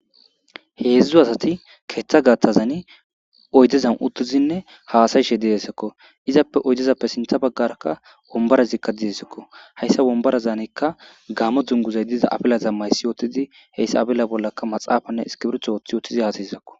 Heedzdzu asati keeththa gaththazanni oyddezan uuttizinne haasayishe dizayssakko izappe oyddezappe sinththa baggarakka wombarazikka de'esikko hayssa wombarazanikka gaammo dunguzay diza afilaza maayssi wottidii heyssa afila bollakka maxaafanne iskirbitto wooththi uuttidii haasayizakko